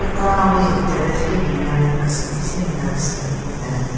Taahwi terrace wi kese tesi nza kese mupen.